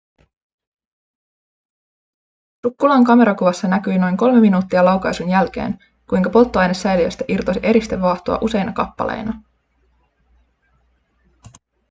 sukkulan kamerakuvassa näkyi noin kolme minuuttia laukaisun jälkeen kuinka polttoainesäiliöstä irtosi eristevaahtoa useina kappaleina